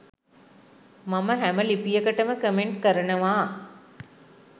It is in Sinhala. මම හැම ලිපියකටම කමෙන්ට් කරනවා.